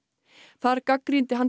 þar gagnrýndi hann